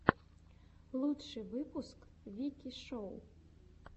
лучший выпуск вики шоу